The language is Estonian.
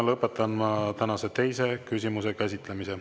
Ma lõpetan tänase teise küsimuse käsitlemise.